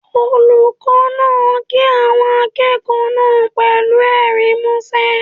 Olùkọ́ náà kí àwọn akẹ́kọ̀ọ́ náà pẹ̀lú ẹ̀rín músẹ́.